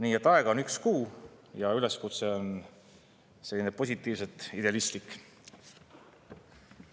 Nii et aega on üks kuu ja üleskutse on selline positiivselt idealistlik.